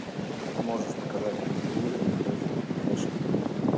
можешь показать на телевизоре передачу фэшн